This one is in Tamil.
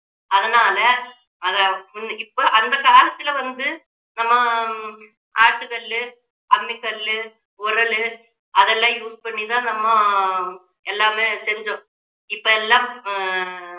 அதனால அதை இப்போ அந்த காலத்துல வந்து நம்ம ஹம் ஆட்டுக்கல்லு, அம்மி கல்லு, உரலு அதெல்லாம் use பண்ணி தான் நம்ம எல்லாமே செஞ்சோம் இப்போ எல்லாம்